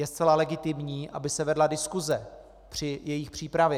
Je zcela legitimní, aby se vedla diskuse při jejich přípravě.